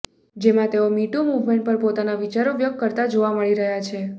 જેમાં તેઓ MeToo movement પર પોતાના વિચારો વ્યક્ત કરતા જોવા મળી રહ્યાં છે